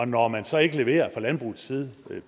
når man så ikke leverer fra landbrugets side